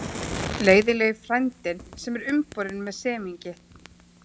Leiðinlegi frændinn sem er umborinn með semingi.